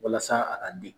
Walasa a ka di